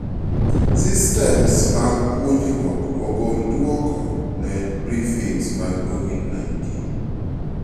Systems mag puonjruok ogol duoko ne briefings mag COVID-19